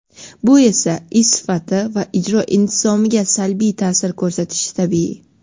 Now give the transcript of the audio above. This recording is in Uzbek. Bu esa ish sifati va ijro intizomiga salbiy taʼsir ko‘rsatishi tabiiy.